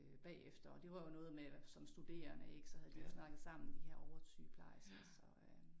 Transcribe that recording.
Øh bagefter og det var jo noget med som studerende ik så havde de jo snakket sammen de her oversygeplejersker så øh